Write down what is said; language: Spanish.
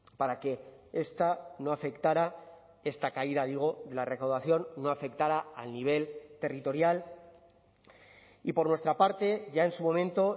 para que esta no afectara esta caída digo la recaudación no afectara al nivel territorial y por nuestra parte ya en su momento